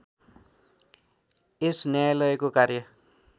यस न्यायालयको कार्य